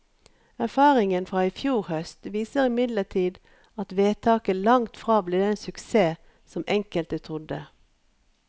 Erfaringen fra i fjor høst viser imidlertid at vedtaket langtfra ble den suksess som enkelte trodde.